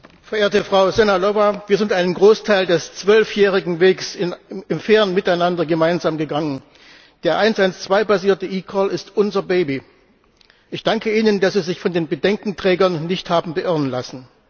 Verehrte Frau Sehnalová, wir sind einen Großteil des zwölfjährigen Wegs im fairen Miteinander gemeinsam gegangen. Der 112 basierte eCall ist unser Baby. Ich danke Ihnen, dass Sie sich von den Bedenkenträgern nicht haben beirren lassen.